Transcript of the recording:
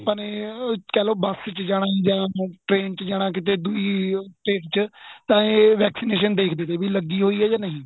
ਆਪਾਂ ਨੇ ਕਹਿਲੋ bus ਚ ਜਾਣਾ ਜਾਂ train ਚ ਜਾਣਾ ਕੀਤੇ ਦੁਈ state ਚ ਤਾਂ ਏ vaccination ਦੇਖਦੇ ਤੇ ਵੀ ਲੱਗੀ ਹੋਈ ਜਾਂ ਨਹੀਂ